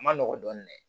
A ma nɔgɔn dɔɔnin dɛ